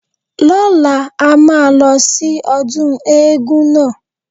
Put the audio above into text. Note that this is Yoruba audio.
Lọ́la, a máa lọ sí ọdún éégún náà.